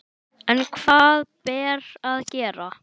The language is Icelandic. En hvað ber að gera?